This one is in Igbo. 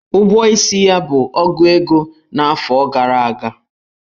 Ụgwọ isi ya bụ ogu ego n'afọ gara aga.